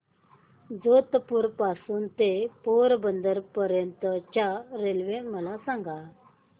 जेतपुर पासून ते पोरबंदर पर्यंत च्या रेल्वे मला सांगा